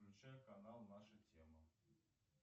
включай канал наша тема